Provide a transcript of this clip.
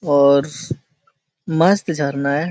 और मस्त झरना है।